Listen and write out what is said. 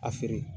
A feere